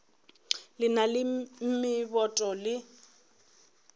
le na le meboto le